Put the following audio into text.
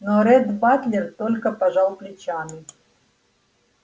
но ретт батлер только пожал плечами